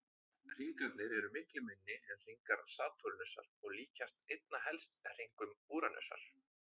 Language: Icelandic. Hringarnir eru miklu minni en hringar Satúrnusar og líkjast einna helst hringum Úranusar.